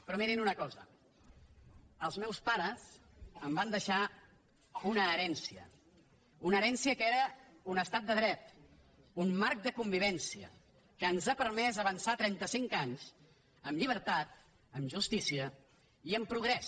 però mirin una cosa els meus pares em van deixar una herència una herència que era un estat de dret un marc de convivència que ens ha permès avançar trenta cinc anys amb llibertat amb justícia i amb progrés